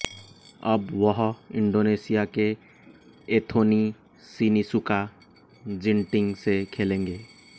अब वह इंडोनेशिया के एंथोनी सिनिसुका जिन्टिंग से खेलेंगे